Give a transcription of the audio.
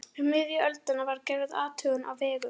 Um miðja öldina var gerð athugun á vegum